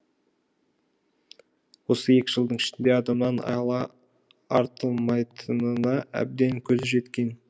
осы екі жылдың ішінде адамнан айла артылмайтынына әбден көзі жеткен